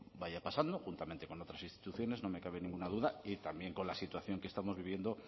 vaya pasando juntamente con otras instituciones no me cabe ninguna duda y también con la situación que estamos viviendo